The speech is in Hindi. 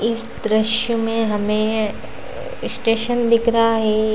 इस दृश्य में हमें स्टेशन दिख रहा है।